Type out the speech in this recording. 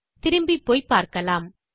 திரும்பிப்போய் பார்க்கலாம்